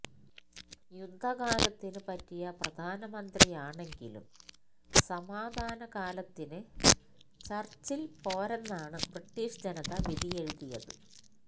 യുദ്ധ കാലത്തിനു പറ്റിയ പ്രധാനമന്ത്രിയാണെങ്കിലും സമാധാന കാലത്തിന് ചര്ച്ചില് പോരെന്നാണ് ബ്രിട്ടീഷ് ജനത വിധിയെഴുതിയത്